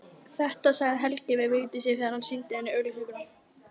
Þetta sagði Helgi við Vigdísi þegar hann sýndi henni auglýsinguna.